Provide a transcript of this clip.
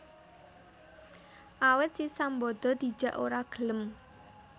Awit si Sambada dijak ora gelem